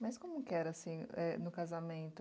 Mas como que era, assim, é, no casamento?